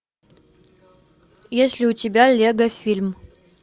есть ли у тебя лего фильм